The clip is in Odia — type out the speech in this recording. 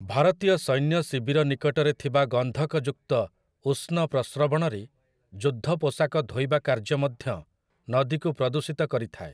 ଭାରତୀୟ ସୈନ୍ୟ ଶିବିର ନିକଟରେ ଥିବା ଗନ୍ଧକଯୁକ୍ତ ଉଷ୍ଣ ପ୍ରସ୍ରବଣରେ ଯୁଦ୍ଧ ପୋଷାକ ଧୋଇବା କାର୍ଯ୍ୟ ମଧ୍ୟ ନଦୀକୁ ପ୍ରଦୂଷିତ କରିଥାଏ ।